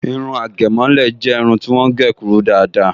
Irun àgẹ̀mọ́lẹ̀ jẹ́ irun ti wọ́n gé kúrú dáadáa